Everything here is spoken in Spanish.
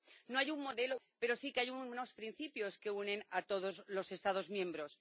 No hay un modelo de talla única, pero sí que hay unos principios que unen a todos los Estados miembros.